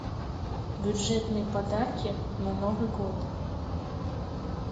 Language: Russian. бюджетные подарки на новый год